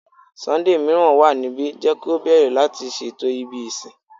Sunday miiran wa nibi, jẹ ki o bẹrẹ lati ṣeto ibi isin